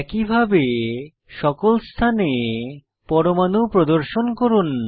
একইভাবে সকল স্থানে পরমাণু প্রদর্শন করুন